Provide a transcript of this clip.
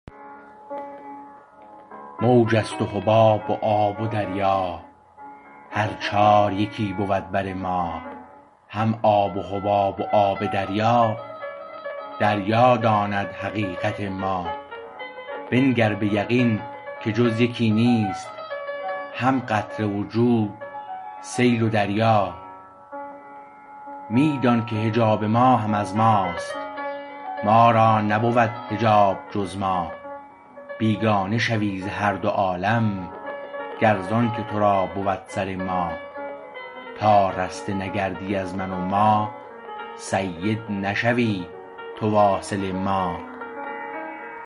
موج است و حباب و آب و دریا هر چار یکی بود بر ما هم آب و حباب و آب دریا دریا داند حقیقت ما بنگر به یقین که جز یکی نیست هم قطره و جود سیل و دریا می دانکه حجاب ما هم از ماست ما را نبود حجاب جز ما بیگانه شوی ز هر دو عالم گر زانکه تو را بود سر ما تا رسته نگردی از من و ما سید نشوی تو واصل ما